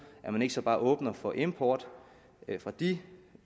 at man så ikke bare åbner for import fra de